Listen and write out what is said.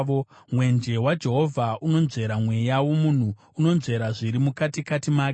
Mwenje waJehovha unonzvera mweya womunhu; unonzvera zviri mukatikati make.